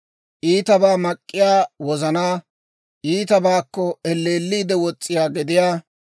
iitabaa mak'k'iyaa wozanaa, iitabaakko elleelliide wos's'iyaa gediyaa,